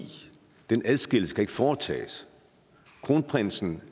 den adskillelse ikke kan foretages kronprinsen